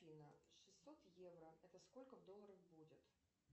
афина шестьсот евро это сколько в долларах будет